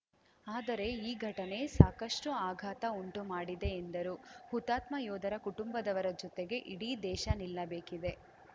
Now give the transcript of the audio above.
ಆದರೆ ಈ ಘಟನೆ ಸಾಕಷ್ಟುಆಘಾತ ಉಂಟು ಮಾಡಿದೆ ಎಂದರು ಹುತಾತ್ಮ ಯೋಧರ ಕುಟುಂಬದವರ ಜೊತೆಗೆ ಇಡೀ ದೇಶ ನಿಲ್ಲಬೇಕಿದೆ